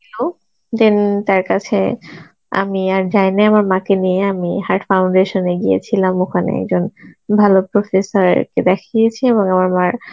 দিল then তার কাছে আমি আর যাই নাই আমার মাকে নিয়ে আমি heart foundation এ গিয়েছিলাম ওখানে একজন ভালো professor কে দেখিয়েছি এবং আমার মার